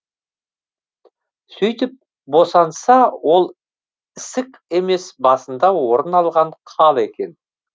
сөйтіп босанса ол ісік емес басында орын алған қал екен